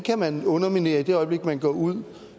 kan man underminere i det øjeblik man går ud